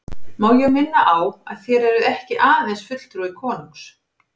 Má ég minna á að þér eruð ekki aðeins fulltrúi konungs.